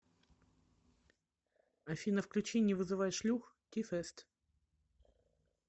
афина включи не вызывай шлюх ти фест